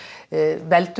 veldur